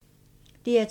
DR2